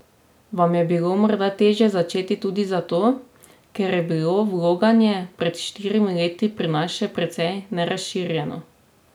Vam je bilo morda težje začeti tudi zato, ker je bilo vloganje pred štirimi leti pri nas še precej nerazširjeno?